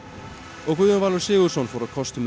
og Guðjón Valur Sigurðsson fór á kostum með